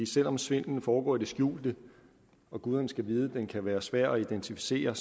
selv om svindlen foregår i de skjulte og guderne skal vide at den kan være svær at identificere